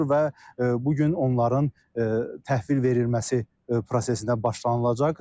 Və bu gün onların təhvil verilməsi prosesinə başlanılacaq.